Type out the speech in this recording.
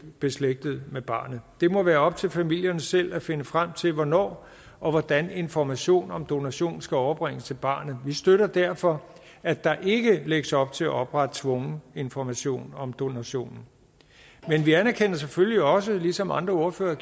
beslægtede med barnet det må være op til familierne selv at finde frem til hvornår og hvordan information om donation skal overbringes til barnet vi støtter derfor at der ikke lægges op til at oprette tvungen information om donationen men vi anerkender selvfølgelig også ligesom andre ordføreren